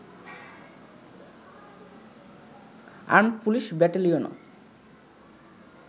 armed police ব্যাটেলিয়নও